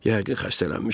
Yəqin xəstələnmişəm.